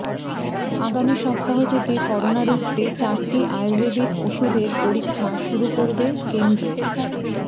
আগামী সপ্তাহ থেকে করোনা রুখতে চারটি আয়ুর্বেদিক ওষুধের পরীক্ষা শুরু করবে কেন্দ্র